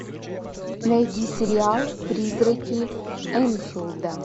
найди сериал призраки энфилда